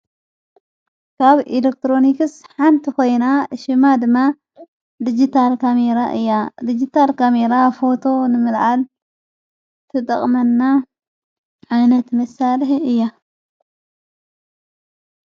ካብ ኢለክትሮንክስ ሓንቲ ኾይና እሽማድማ ዲግታር ካሜይራ እያ ዲጅታር ካሚይራ ፈቶ ንምልዓል ቲጠቕመና ዓይነት መሣልሀ እያ::